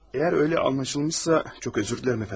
Əgər öyle anlaşılmışsa, çox özür dilərim əfəndim.